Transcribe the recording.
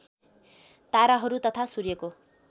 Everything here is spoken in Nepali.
ताराहरू तथा सूर्यको